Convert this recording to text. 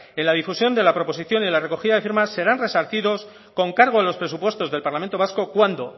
en la difusión de la proposición y en la recogida de firmas serán resarcidos con cargo en los presupuestos del parlamento vasco cuando